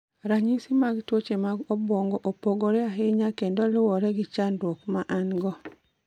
Ranyisi mag tuoche mag obwongo opogore ahinya kendo luwore gi chandruok ma en-go.